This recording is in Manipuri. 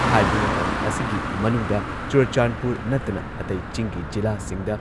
ꯍꯥꯏꯔꯤꯕ ꯃꯇꯝ ꯑꯁꯤꯒꯤ ꯃꯅꯨꯡꯗ ꯆꯨꯔꯆꯥꯟꯗꯄꯨꯔ ꯅꯠꯇꯅ ꯑꯇꯩ ꯆꯤꯡꯒꯤ ꯖꯤꯂꯥꯁꯤꯡꯗ